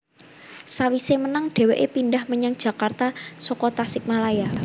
Sawise menang dheweke pindhah menyang Jakarta saka Tasikmalaya